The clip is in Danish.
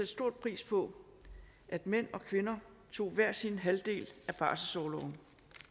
stor pris på at mænd og kvinder tog hver sin halvdel af barselsorloven